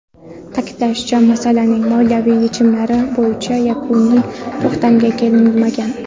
Ta’kidlanishicha, masalaning moliyaviy yechimlari bo‘yicha yakuniy to‘xtamga kelinmagan.